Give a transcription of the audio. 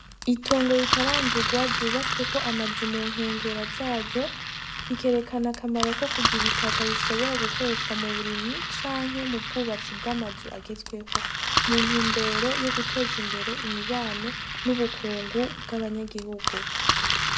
Itongo ritarandurwa ryubatsweko amazu ku nkengera zaryo, bikerekana akamaro ko kugira itaka ishobora gukoreshwa mub'uburimyi canke mu bwubatsi bw'amazu agezweho, mu ntumbero yoguteza imbere imibano n'ubukungu bw'abanyagihugu.